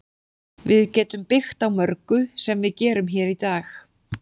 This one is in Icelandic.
Við getum byggt á mörgu sem við gerum hér í dag.